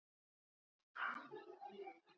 Eftirfarandi atriði voru nefnd